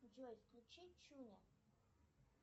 джой включи чуня